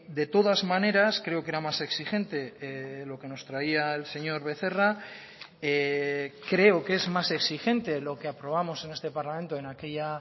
de todas maneras creo que era más exigente lo que nos traía el señor becerra creo que es más exigente lo que aprobamos en este parlamento en aquella